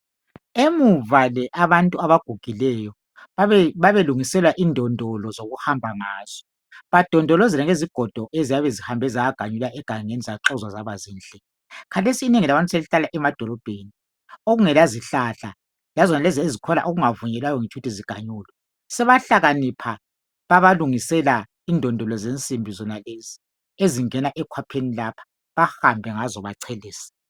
Emuva le abantu abagugileyo babelungiselwa indondolo zokuhamba ngazo badondolozele ngezigodo eziyabe zihambe zaganyulwa egangeni zaxozwa zabazinhle. Khathesi inengi labantu selihlala emadolobheni okungela zihlahla lazonal ezikhona ezingavunyelwayo ukuthi ziganyulwe. Sebahlakanipha babalungisela indondolo zensinsimbi zonalezi ezingena ekhwapheni lapha bahambe ngazo bachelese.